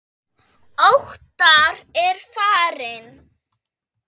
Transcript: Óttar er farinn.